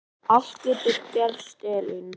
Allt getur gerst, Ellen.